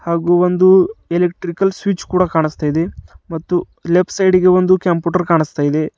ಹಾಗು ಒಂದು electrical switch ಕೂಡಾ ಕನಸ್ತಾ ಇದೆ ಮತ್ತು ಲೆಫ್ಟ್ ಸೈಡಿ ಗೆ ಒಂದು ಕ್ಯಾಂಪುಟರ್ ಕಾಣಿಸ್ತಾ ಇದೆ.